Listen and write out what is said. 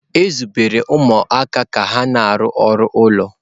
E zubere ụmụaka ka ha na-arụ ọrụ ụlọ.